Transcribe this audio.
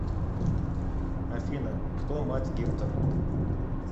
афина кто мать гектор